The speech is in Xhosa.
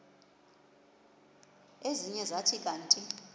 ezinye zathi kanti